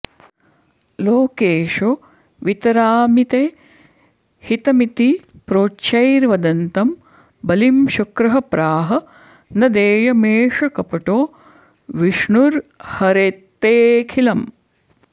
लोकेशो वितरामि ते हितमिति प्रोच्चैर्वदन्तं बलिं शुक्रः प्राह न देयमेष कपटो विष्णुर्हरेत्तेऽखिलम्